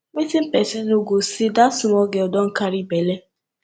wetin person no go see dat small girl don carry bele